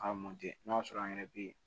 A n'a sɔrɔ an yɛrɛ be